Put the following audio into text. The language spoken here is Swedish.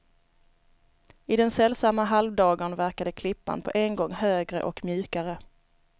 I den sällsamma halvdagern verkade klippan på en gång högre och mjukare.